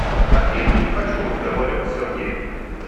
афина не хочу разговаривать с сергеем